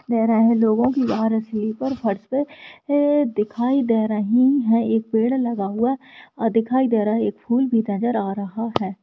दे रहा है लोगो की बाहर स्लिपर फर्श पे दिखाई दे रही है एक पेड़ लगा हुआ दिखायी दे रहा है एक फूल भी नजर आ रहा है।